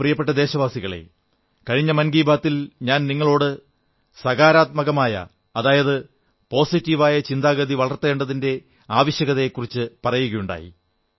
എന്റെ പ്രിയപ്പെട്ട ദേശവാസികളേ കഴിഞ്ഞ മൻ കീ ബാത്തിൽ ഞാൻ നിങ്ങളോട് സകാരാത്മകമായ പോസിറ്റീവ് ചിന്താഗതി വളർത്തേണ്ടതിന്റെ ആവശ്യകതയെക്കുറിച്ചു പറയുകയുണ്ടായി